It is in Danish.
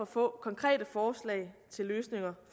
få konkrete forslag til løsninger